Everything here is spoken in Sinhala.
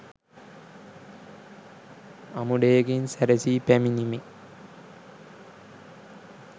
අමුඩයකින් සැරසී පැමිණිමේ